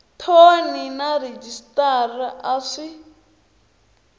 thoni na rhejisitara a swi